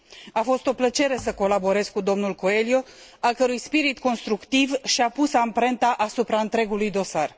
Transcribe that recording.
A fost o plăcere să colaborez cu dl Coelho, al cărui spirit constructiv și a pus amprenta asupra întregului dosar.